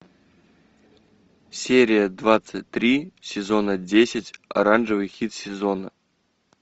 серия двадцать три сезона десять оранжевый хит сезона